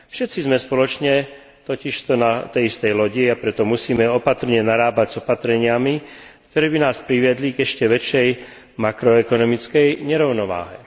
Všetci sme spoločne totižto na tej istej lodi, a preto musíme opatrne narábať s opatreniami, ktoré by nás priviedli k ešte väčšej makroekonomickej nerovnováhe.